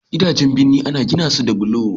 gidajen birni ana gina su da bulo